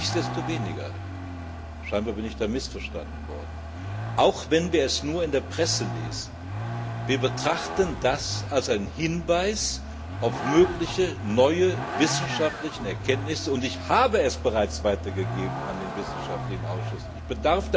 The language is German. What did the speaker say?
Nichtsdestoweniger scheinbar bin ich da missverstanden worden Auch wenn wir es nur in der Presse lesen, wir betrachten das als einen Hinweis auf mögliche neue wissenschaftliche Erkenntnisse, und ich habe es bereits an den wissenschaftlichen Ausschuss weitergegeben.